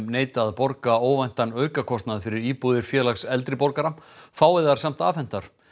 neita að borga óvæntan aukakostnað fyrir íbúðir Félags eldri borgara fái þær samt afhentar